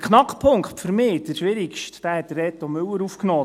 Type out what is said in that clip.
Den Knackpunkt, den für mich schwierigsten Punkt, hat Reto Müller aufgenommen;